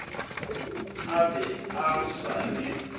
a be a sa le